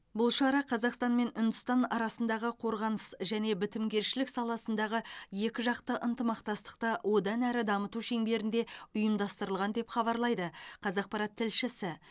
бұл шара қазақстан мен үндістан арасындағы қорғаныс және бітімгершілік саласындағы екіжақты ынтымақтастықты одан әрі дамыту шеңберінде ұйымдастырылған деп хабарлайды қазақпарат тілшісі